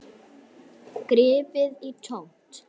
Gripið í tómt.